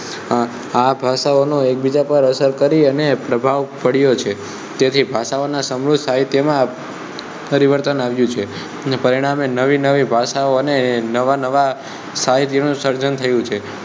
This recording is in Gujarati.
આ ભાષાઓનો એક બીજા પર અસર કરી અને પ્રભાવ પડ્યો છે તેથી ભાષાઓ ના સમૂહ સાહિત્યમા પરિવર્તન આવ્યું છે અને પરિણામે નવી નવી ભાષા અને નવા નવા સાહિત્ય નું સર્જન થયું છે